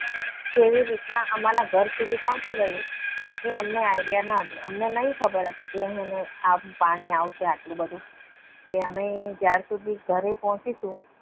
કેવી રીતે અમારા ઘર સુધી પોહચી ગયું? એ અમને idea ન હતી. અમને નહીં ખબર હતી કે પાણી આવશે આટલું બધું કે અમે જ્યાં સુધી ઘરે પહોંચીશું.